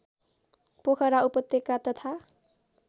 पोखरा उपत्यका तथा